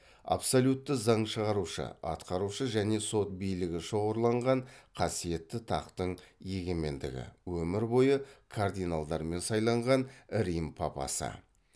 абсолютті заң шығарушы атқарушы және сот билігі шоғырланған қасиетті тақтың егемендігі өмір бойы кардиналдармен сайланған рим папасы